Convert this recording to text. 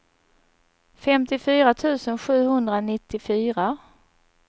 femtiofyra tusen sjuhundranittiofyra